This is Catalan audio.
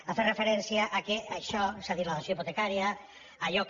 ha fet referència que això és a dir la dació hipotecària allò que